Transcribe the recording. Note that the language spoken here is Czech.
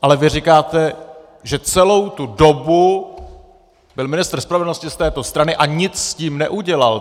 Ale vy říkáte, že celou tu dobu byl ministr spravedlnosti z této strany a nic s tím neudělal.